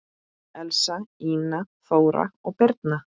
Elsa, Ína, Þóra og Birna.